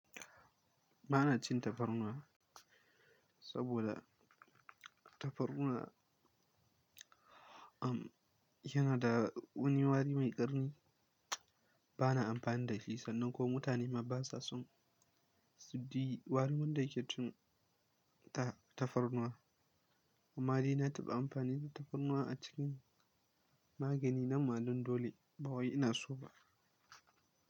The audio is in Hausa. Ba na cin tafarnuwa saboda tafarnuwa am yana da wani wari mai ƙarni. Ba na amfani da shi sannan ko mutane maba sa sun, suji warin wanda yake cin ta tafarnuwa. Amma dai na taɓa amfani da tafarnuwa a cikin magani nanma dan dole, ba wai ina so ba.